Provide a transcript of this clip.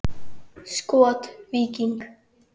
Skot: Víking.